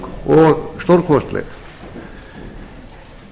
og ganga of stutt miðað